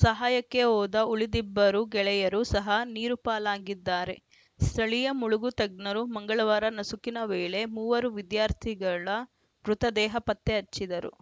ಸಹಾಯಕ್ಕೆ ಹೋದ ಉಳಿದಿಬ್ಬರು ಗೆಳೆಯರು ಸಹ ನೀರುಪಾಲಾಗಿದ್ದಾರೆ ಸ್ಥಳೀಯ ಮುಳುಗು ತಜ್ಞರು ಮಂಗಳವಾರ ನಸುಕಿನ ವೇಳೆ ಮೂವರು ವಿದ್ಯಾರ್ಥಿಗಳ ಮೃತದೇಹ ಪತ್ತೆ ಹಚ್ಚಿದರು